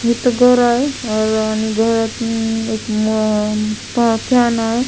हे तर घर आहे आणि घरातन एक फॅन आहे.